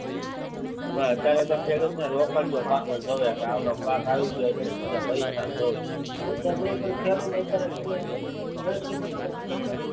અત્યાર સુધી ખેડૂત ને રોકડીયો પાક જ લેવાય જેમકે રોકડીયો પાક આવી ગયો છે પૈસા જોવે પૈસા જોવે ખેડૂતો ને અત્યારે તમે